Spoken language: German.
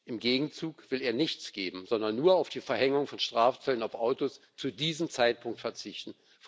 Im Gegenzug will er nichts geben, sondern nur auf die Verhängung von Strafzöllen auf Autos zu diesem Zeitpunkt verzichten.